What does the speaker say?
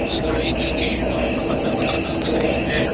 Slides के रंग अलग अलग सी है।